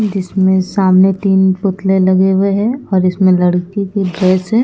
जिसमे सामने तीन पुतले लगे हुए हैं और इसमें लड़की की ड्रेस है।